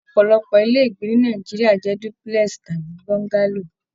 Ọpọlọpọ ilé ìgbé ni Nàìjíríà jẹ dúpúlẹ́sì tàbí bọ́ngálò